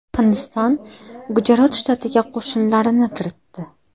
Hindiston Gujarot shtatiga qo‘shinlarini kiritdi.